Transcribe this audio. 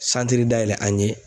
Santiri dayɛlɛ an ye.